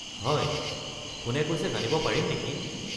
হয়, কোনে কৈছে জানিব পাৰিম নেকি?